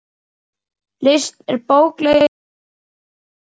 List er bókleg iðkun sögð.